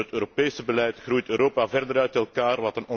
Door het Europese beleid groeit Europa verder uit elkaar.